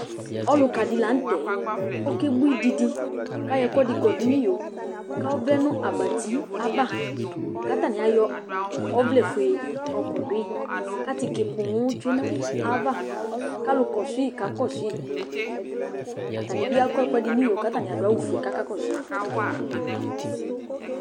Ɔlʋka dɩ la nʋ tɛ ɔkebui didi kʋ ayɔ ɛkʋɛdɩ kɔdʋ nʋ iyo kʋ ɔvlɛ nʋ abatɩ ava kʋ atanɩ ayɔ ɔvlɛfue yɔkɔdʋ yɩ kʋ atike poo tsue nʋ ava kʋ alʋkɔsʋ yɩ kakɔsʋ yɩ Atanɩ bɩ akɔ ɛkʋɛdɩ nʋ iyo kʋ atanɩ adʋ awʋfue kʋ akakɔsʋ yɩ